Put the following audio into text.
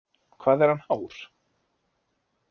Hvað er hann hár?